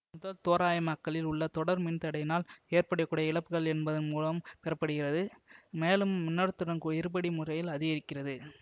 முதல் தோராயமாக்களில் உள்ள தொடர் மின் தடையினால் ஏற்பட கூடிய இழப்புகள் என்பதன் மூலம் பெறப்படுகிறது மேலும் மின்னோட்டத்துடன் இருபடி முறையில் அதிகரிக்கிறது